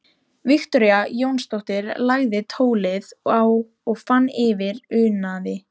Viktoría Jónsdóttir lagði tólið á og fann fyrir unaði.